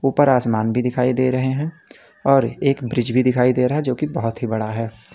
ऊपर आसमान भी दिखाई दे रहे हैं और एक ब्रिज भी दिखाई दे रहा है जो की बहोत ही बड़ा है।